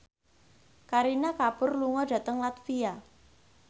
Kareena Kapoor lunga dhateng latvia